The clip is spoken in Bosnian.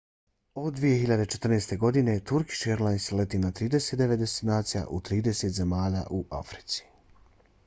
od 2014. godine turkish airlines leti na 39 destinacija u 30 zemalja u africi